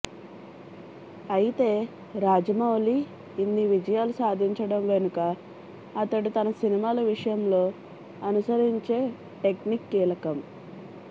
అయితే రాజమౌళి ఇన్ని విజయాలు సాధించడం వెనుక అతడు తన సినిమాల విషయంలో అనుసరించే టెక్నిక్ కీలకం